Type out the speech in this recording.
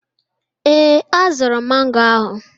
Ee, azụrụ m mango ahụ.